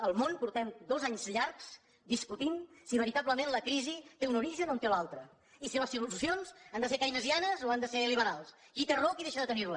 el món fa dos anys llargs que discutim si veritablement la crisi té un origen o en té un altre i si les solucions han de ser keynesianes o han de ser liberals qui té raó o qui deixa de tenir la